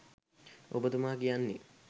ඔබතුමා කියන්නේ